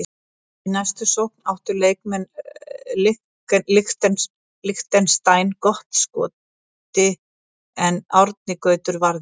Í næstu sókn áttu leikmenn Liechtenstein gott skoti en Árni Gautur varði.